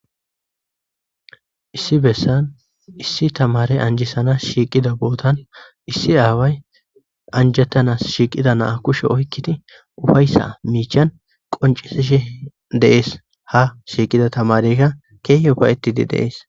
issi bessan issi tamare anjisanas shiiqida bootan issi aaway anjettanas shiiqida naa kushe oykkiti ufayssa miichan qoncisishi dees ha shiiqida tamareyka kee upa7etidi deees